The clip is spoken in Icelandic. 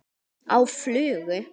Á flugu?